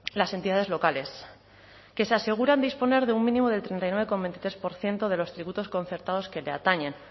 las entidades locales que se aseguran disponer de un mínimo del treinta y nueve coma veintitrés por ciento de los tributos concertados que le atañen